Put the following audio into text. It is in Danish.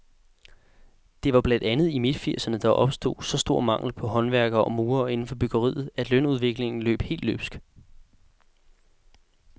Det var blandt andet i midtfirserne, der opstod så stor mangel på håndværkere og murer inden for byggeriet, at lønudviklingen løb helt løbsk.